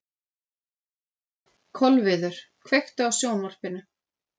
Kolviður, kveiktu á sjónvarpinu.